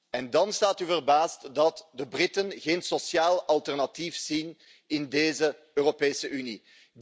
En dan staat u verbaasd dat de Britten geen sociaal alternatief zien in deze Europese Unie.